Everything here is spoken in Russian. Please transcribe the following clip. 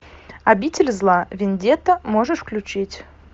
обитель зла вендетта можешь включить